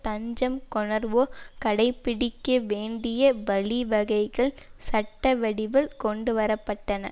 தஞ்சம் கோணருவோர் கடைப்பிடிக்கவேண்டிய வழிவகைகள் சட்டவடிவில் கொண்டுவர பட்டன